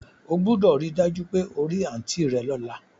O gbúdọ̀ ri dájú pe o ri aunt rẹ lọ́la